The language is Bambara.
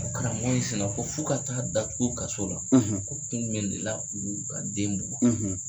Karamɔgɔ in sina ko f'u ka taa datugun kaso la ko kun jumɛn de la u y'u ka den bugɔ.